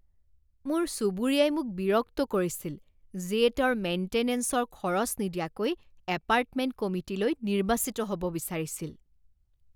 মোৰ চুবুৰীয়াই মোক বিৰক্ত কৰিছিল, যিয়ে তেওঁৰ মেইণ্টেনেঞ্চৰ খৰচ নিদিয়াকৈ এপাৰ্টমেণ্ট কমিটিলৈ নিৰ্বাচিত হ'ব বিচাৰিছিল।